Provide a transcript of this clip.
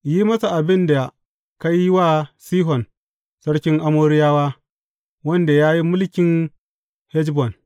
Yi masa abin da ka yi wa Sihon sarkin Amoriyawa, wanda ya yi mulkin Heshbon.